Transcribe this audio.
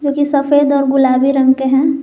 ये सफेद और गुलाबी रंग के हैं।